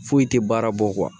Foyi tɛ baara bɔ